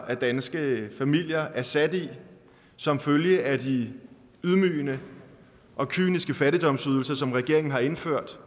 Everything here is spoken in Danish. af danske familier er sat i som følge af de ydmygende og kyniske fattigdomsydelser som regeringen har indført